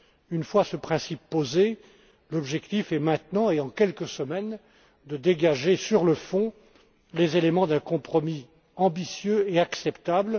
Une fois ce principe posé, l'objectif est maintenant, et en quelques semaines, de dégager sur le fond les éléments d'un compromis ambitieux et acceptable.